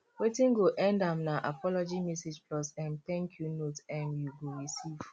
wetin go end am na apology message plus um thank yu note um yu go receive